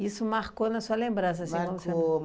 Isso marcou na sua lembrança, assim, como sendo. Marcou